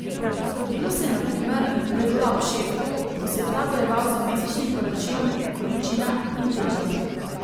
Zgodilo se je na primer, da je bila ob šefu, ko se je ta bojeval z mesečnim poročilom o količinah in težah.